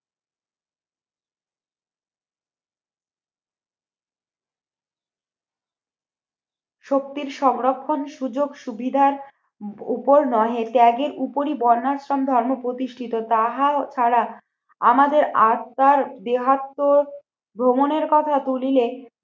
শক্তির সংরক্ষণ সুযোগ-সুবিধার উপর নয়ে ত্যাগের উপরি বন্যাশ্রম ধর্ম প্রতিষ্ঠিত তাহা ছাড়া আমাদের আত্মার দেহাত্ম ভ্রমণের কথা ভুলিলে